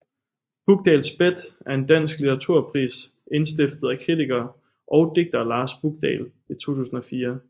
Bukdahls Bet er en dansk litteraturpris indstiftet af kritiker og digter Lars Bukdahl i 2004